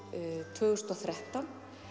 tvö þúsund og þrettán